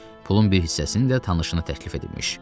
Pulun bir hissəsini də tanışını təklif edibmiş.